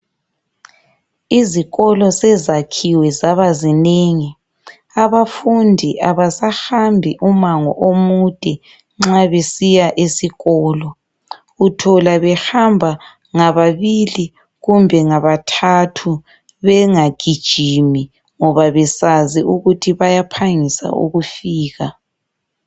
Izikolo sezakhiwe zabazinengi. Abafundi abasahambi umango omude nxa besiya esikolo. Uthola behamba ngababili kumbe ngabathathu bengagijimi ngoba besazi ukuthi bayaphangisa ukufika.